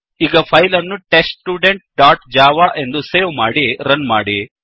ಈಗ ಫೈಲ್ ಅನ್ನು test student dot java ಎಂದು ಸೇವ್ ಮಾಡಿ ರನ್ ಮಾಡಿ